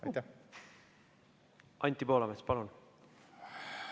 Anti Poolamets, palun!